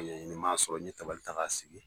Ee m'a sɔrɔ n ye tabali ta k'a sigi.